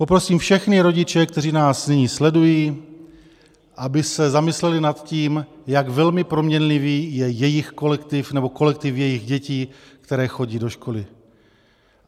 Poprosím všechny rodiče, kteří nás nyní sledují, aby se zamysleli nad tím, jak velmi proměnlivý je jejich kolektiv nebo kolektiv jejich dětí, které chodí do školy.